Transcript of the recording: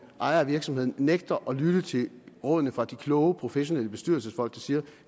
ejer af virksomheden nægter at lytte til rådene fra de kloge professionelle bestyrelsesfolk der siger at